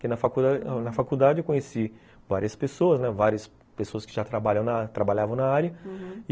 Porque na faculdade na faculdade eu conheci várias pessoas, várias pessoas que já trabalhavam na área, uhum.